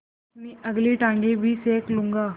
अपनी अगली टाँगें भी सेक लूँगा